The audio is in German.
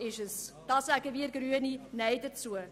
Wir Grünen sagen Nein dazu.